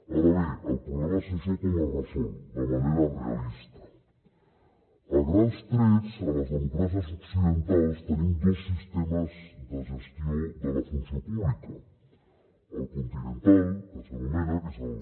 ara bé el problema és això com es resol de manera realista a grans trets a les democràcies occidentals tenim dos sistemes de gestió de la funció pública el continental que s’anomena que és el